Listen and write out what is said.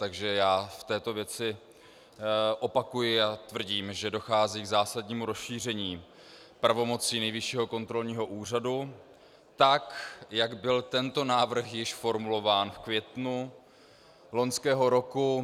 Takže já v této věci opakuji a tvrdím, že dochází k zásadnímu rozšíření pravomocí Nejvyššího kontrolního úřadu tak, jak byl tento návrh již formulován v květnu loňského roku.